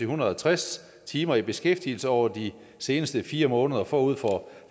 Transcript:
hundrede og tres timer i beskæftigelse over de seneste fire måneder forud for